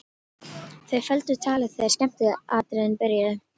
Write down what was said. Þau felldu talið þegar skemmtiatriðin byrjuðu.